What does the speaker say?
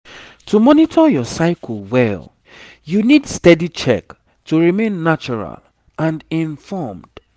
to monitor your cycle well you need steady check to remain natural and informed